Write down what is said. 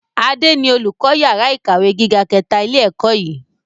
Adé ni olùkọ́ yàrá ìkàwé gíga kẹta ilé ẹ̀kọ́ yìí.